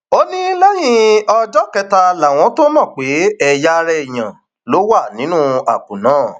ó ní lẹyìn ọjọ kẹta làwọn tóo mọ pé ẹyà ara èèyàn ló wà nínú àpò náà